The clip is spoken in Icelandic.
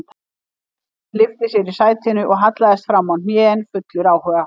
Charles lyfti sér í sætinu og hallaðist framá hnén fullur áhuga